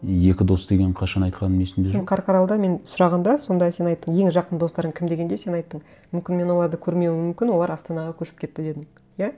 екі дос деген қашан айтқаным есімде жоқ сен қарқаралыда мен сұрағанда сонда сен айттың ең жақын достарың кім дегенде сен айттың мүмкін мен оларды көрмеуім мүмкін олар астанаға көшіп кетті дедің иә